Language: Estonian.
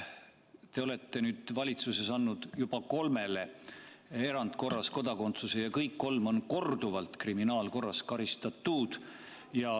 Te olete valitsuses andnud juba kolmele isikule erandkorras kodakondsuse ja kõik kolm on korduvalt kriminaalkorras karistatud.